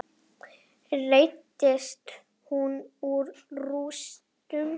Reisti hús úr rústum.